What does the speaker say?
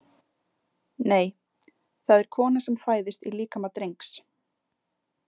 Nei, það er kona sem fæðist í líkama drengs